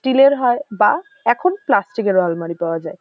Still -এর হয় বা এখন প্লাস্টিক -এর ও আলমারি পাওয়া যায়।